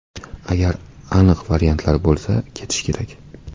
Agar aniq variantlar bo‘lsa, ketish kerak.